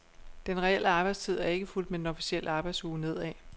Den reelle arbejdstid er ikke fulgt med den officielle arbejdsuge nedad.